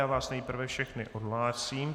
Já vás nejprve všechny odhlásím.